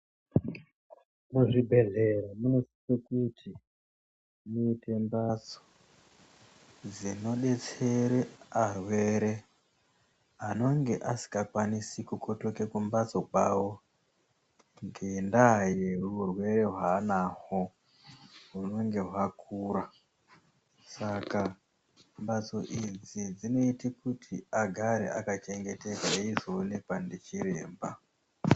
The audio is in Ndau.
Muzvibhehleya munosise kuti muite mbatso dzinodetsere arwere anonge asikakwinisi kukotoke kumbatso kwavo ngendaa yeurwere hwaanahwo hunenge hwakura. Saka mbatso idzi dzinoite kuti agare akachengetedzeke eionekwa ndichiremba